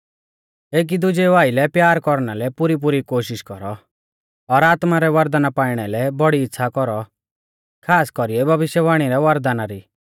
एकी दुजेऊ आइलै प्यार कौरना लै पुरीपुरी कोशिष कौरौ और आत्मा रै वरदाना पाईणा लै बौड़ी इच़्छ़ा कौरौ खास कौरीऐ भविष्यवाणी रै वरदाना री